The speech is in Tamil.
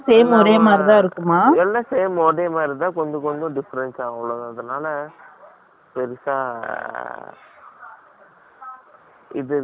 எல்லாம் same , ஒரே மாதிரி இருந்தா, கொஞ்சம், கொஞ்சம் difference ஆகும். அவ்வளவுதான். அதனால, பெருசா இது இருக்காது, சிரமம் இருக்காது